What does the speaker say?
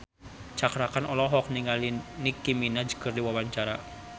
Cakra Khan olohok ningali Nicky Minaj keur diwawancara